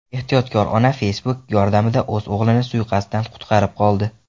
Ehtiyotkor ona Facebook yordamida o‘z o‘g‘lini suiqasddan qutqarib qoldi.